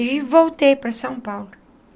E voltei para São Paulo.